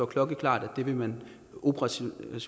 klokkeklart at det vil man operationelt